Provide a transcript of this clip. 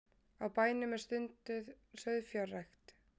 Á bænum er stunduð sauðfjárrækt